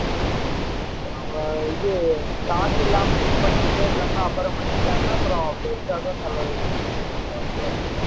இப்ப நம்ம இது காசு இல்லாமல் இது பண்ணிட்டே இருந்தோம்ன்னா அப்புறம் பண்ணிக்கலாம்ன்னா அப்புறம் பெருசாதான் செலவு வெக்கும் எந்த வண்யா இருந்தாலும்